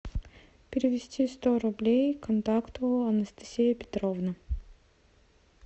перевести сто рублей контакту анастасия петровна